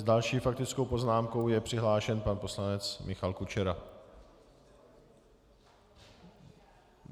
S další faktickou poznámkou je přihlášen pan poslanec Michal Kučera.